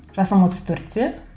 жасым отыз төртте